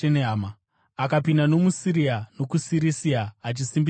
Akapinda nomuSiria nokuSirisia, achisimbisa kereke.